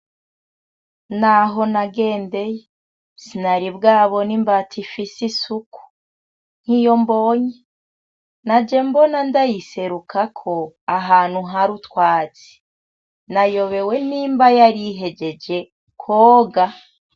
Naho nagendeye sinaribwabone imbata ifise isuku nkiyo mbonye naje mbona ndayiserukako ahantu har utwatsi, nayobewe nimba yari ihejeje kwoga.